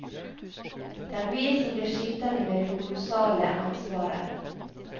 Det er vi som blir sittende med det kolossale ansvaret.